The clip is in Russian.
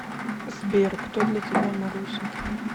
сбер кто для тебя маруся